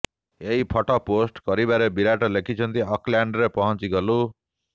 ଏହି photo post କରିବାରେ ବିରାଟ୍ ଲେଖିଛନ୍ତି ଅକଲ୍ୟାଣ୍ଡରେ ପହଞ୍ଚିଗଲୁ